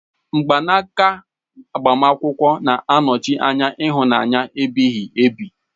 Mgbanaka agbamakwụkwọ na-anọchi anya ịhụnanya ebighi ebi.